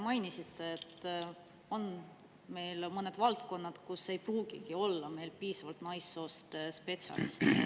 Mainisite, et on mõned valdkonnad, kus meil ei pruugigi olla piisavalt naissoost spetsialiste.